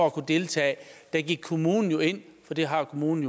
at kunne deltage gik kommunen jo ind for det har kommunen